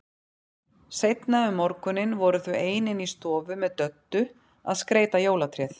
Seinna um morguninn voru þau ein inni í stofu með Döddu að skreyta jólatréð.